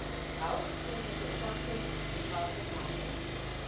Das braucht unsere Beobachtung, das braucht das Nachregeln.